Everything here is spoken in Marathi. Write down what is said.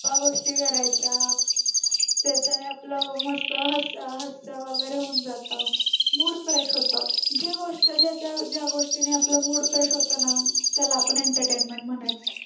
गप्पा गोष्टी करायच्या त्याच्याने आपल मस्त हस्त हस्त वगैरे होऊन जात mood fresh होतो जे वस्तू ज्या गोष्टीने आपला mood fresh होतो ना त्याला आपण entertainment म्हणायचं